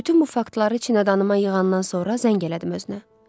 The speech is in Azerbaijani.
Bütün bu faktları içinə adıma yığandan sonra zəng elədim özünə.